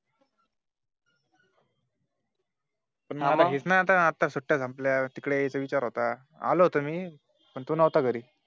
म्ह हेच ना आता सुट्ट्या संपल्या तिकडे यायचाविचार होता आलो होतो मी पण तू नहता घरी